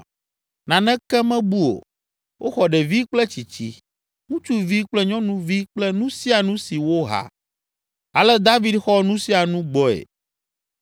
Naneke mebu o; woxɔ ɖevi kple tsitsi, ŋutsuvi kple nyɔnuvi kple nu sia nu si woha. Ale David xɔ nu sia nu gbɔe.